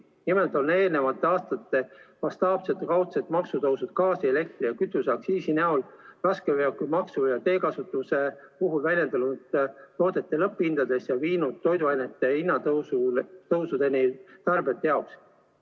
Nimelt on eelmiste aastate mastaapsed kaudsed maksutõusud gaasi-, elektri- ja kütuseaktsiisi näol raskeveokimaksu ja teekasutuse puhul väljendunud toodete lõpphindades ja viinud toiduainete kallinemiseni tarbijate jaoks.